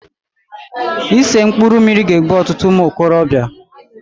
Ise mkpụrụ mmiri ga-egbu ọtụtụ ụmụokorobịa.